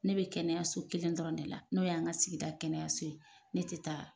Ne be kɛnɛyaso kelen dɔrɔn de la, n'o y'an ka sigida kɛnɛyaso ye .Ne te taa